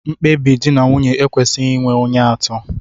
Mkpebi di na nwunye ekwesịghị inwe onye atọ